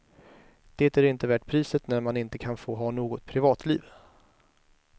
Det är inte värt priset när man inte kan få ha något privatliv.